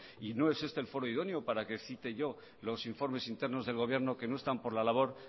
y no es este el foro idóneo para que cite yo los informes internos del gobierno que no están por la labor